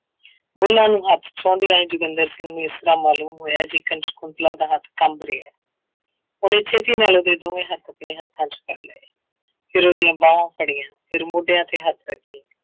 ਬੁਲਾਂ ਨੂੰ ਹੱਥ ਛੂੰਹਦਿਆਂ ਹੀ ਜੋਗਿੰਦਰ ਸਿੰਘ ਨੂੰ ਇਸ ਤਰ੍ਹਾਂ ਮਾਲੂਮ ਹੋਇਆ ਜਿਕਣ ਸਕੁੰਤਲਾ ਦਾ ਹੱਥ ਕੰਬ ਰਿਹਾ ਉਹਨੇ ਛੇਤੀ ਨਾਲ ਉਹਦੇ ਦੋਵੇਂ ਹੱਥ ਆਪਣੇ ਹੱਥਾਂ ਵਿੱਚ ਫੜ ਲਏ, ਫਿਰ ਉਹਦੀਆਂ ਬਾਹਵਾਂ ਫੜੀਆਂ, ਫਿਰ ਮੋਡਿਆਂ ਤੇ ਹੱਥ ਰੱਖੇ।